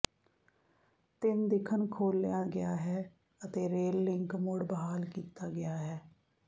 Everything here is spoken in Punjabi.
ਤਿੰਨ ਦਿਖਣ ਖੋਲਿਆ ਗਿਆ ਹੈ ਅਤੇ ਰੇਲ ਲਿੰਕ ਮੁੜ ਬਹਾਲ ਕੀਤਾ ਗਿਆ ਹੈ